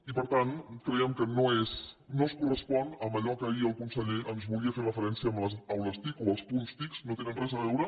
i per tant creiem que no es correspon amb allò a què ahir el conseller ens volia fer referència amb les aules tic o els punts tic no hi tenen res a veure